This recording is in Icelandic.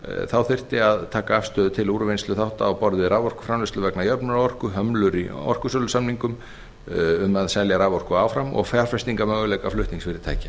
þá þyrfti að taka afstöðu til úrvinnslu þátta á borð við raforkuframleiðslu vegna jöfnunarorku hömlur í orkusölusamningum um að selja raforku áfram og fjárfestingarmöguleika flutningsfyrirtækja